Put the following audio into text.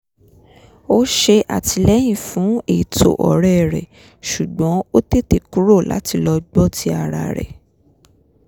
ó ṣe àtìlẹyìn fún ètò ọ̀rẹ́ rẹ̀ ṣùgbọ́n ó tètè kùrò láti lọ gbọ́ ti ara rẹ̀